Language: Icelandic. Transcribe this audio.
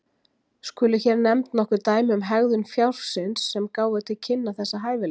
Skulu hér nefnd nokkur dæmi um hegðun fjárins sem gáfu til kynna þessa hæfileika.